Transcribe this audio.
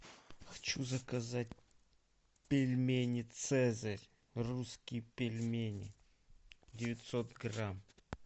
хочу заказать пельмени цезарь русские пельмени девятьсот грамм